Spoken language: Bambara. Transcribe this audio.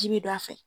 Ji bi don a fɛ